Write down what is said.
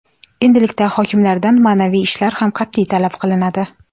Endilikda hokimlardan ma’naviy ishlar ham qat’iy talab qilinadi.